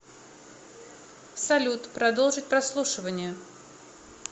салют продолжить прослушивание